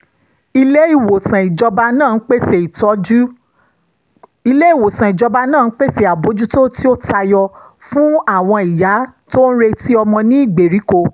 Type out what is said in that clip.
ilé-ìwòsàn ìjọba náà ń pèsè àbójútó tí ó tayọ fún àwọn ìyá tó ń retí ọmọ ní ìgbèríko